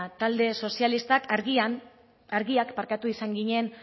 talde sozialistak argian argiak barkatu izan ginen